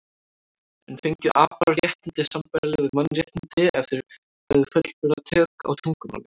En fengju apar réttindi sambærileg við mannréttindi ef þeir hefðu fullburða tök á tungumáli?